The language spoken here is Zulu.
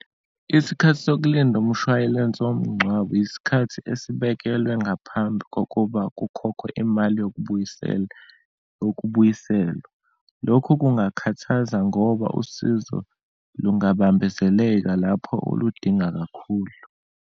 Isikhathi sokulinda umshwayilense womngcwabo, isikhathi esibekelwe ngaphambi kokuba kukhokhwe imali yokubuyisela, yokubuyiselwa. Lokhu kungakhuthaza ngoba usizo lungabambezeleka lapho uludinga kakhulu.